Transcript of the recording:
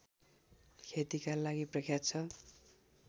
खेतिका लागि प्रख्यात छ